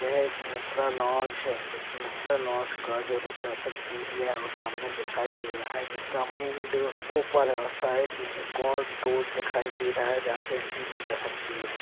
यह एक मिश्रा लाज है इस मिश्रा लज का जो रिसेप एरिया है और सामने दिखाई दे रहा है जिसका मेन डोर ऊपर है साईड मे एक और डोर दिखाई दे रहा है जहासे एंट्री ली जा सकती है।